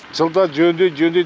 жылда жөндейді жөндейді